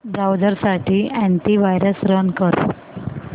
browser साठी antivirus run कर